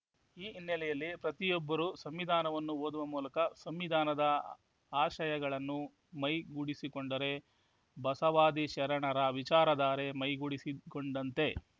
ಈ ಹಿನ್ನೆಲೆಯಲ್ಲಿ ಪ್ರತಿಯೊಬ್ಬರೂ ಸಂವಿಧಾನವನ್ನು ಓದುವ ಮೂಲಕ ಸಂವಿಧಾನದ ಆಶಯಗಳನ್ನು ಮೈಗೂಡಿಸಿಕೊಂಡರೆ ಬಸವಾದಿ ಶರಣರ ವಿಚಾರ ಧಾರೆ ಮೈಗೂಡಿಸಿಕೊಂಡಂತೆ